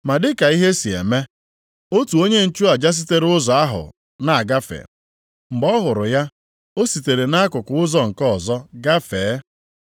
Ma dị ka ihe si eme, otu onye nchụaja sitere ụzọ ahụ na-agafe. Mgbe ọ hụrụ ya, o sitere nʼakụkụ ụzọ nke ọzọ gafee.